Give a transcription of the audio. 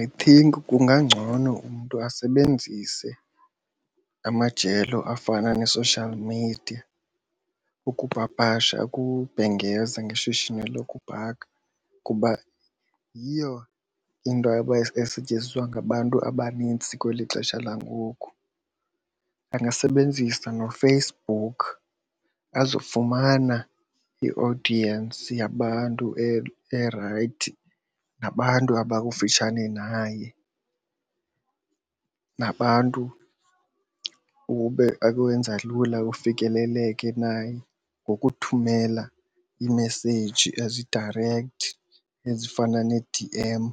I think kungangcono umntu asebenzise amajelo afana nee-social media ukupapasha ukubhengeza ngeshishini lokubhaka kuba yiyo into esetyenziswa ngabantu abanintsi kweli xesha langoku. Angasebenzisa noFacebook azofumana i-audience yabantu erayithi nabantu abakufutshane naye nabantu ukwenza lula ufikeleleke naye ngokuthumela iimeseyiji ezi-direct ezifana ne-D_M